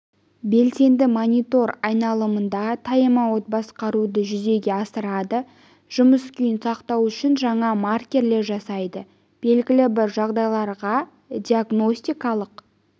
белсенді монитор айналымда таймаутты басқаруды жүзеге асырады жұмыс күйін сақтау үшін жаңа маркерлер жасайды белгілі бір жағдайларда диагностикалық